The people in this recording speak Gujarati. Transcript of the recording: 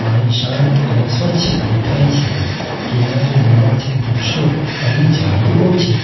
પાણી શાંત અને સ્વચ્છ દેખાય છે કિનારે લીલાછમ વૃક્ષો અને ઝાડીઓ છે.